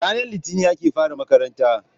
Ranar Litinin ake fara makaranta.